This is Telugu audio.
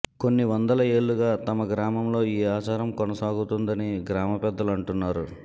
కొన్ని వందల ఏళ్లుగా తమ గ్రామంలో ఈ ఆచారం కొనసాగుతోందని గ్రామపెద్దలు అంటున్నారు